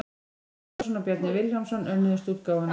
Árni Böðvarsson og Bjarni Vilhjálmsson önnuðust útgáfuna.